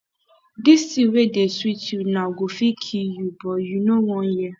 dis thing wey dey sweet you now go fit kill you but you no wan hear